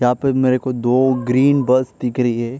यहां पे मेरे को दो ग्रीन बस दिख रही है।